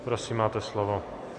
Prosím, máte slovo.